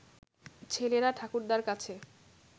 ছেলেরা ঠাকুরদার কাছে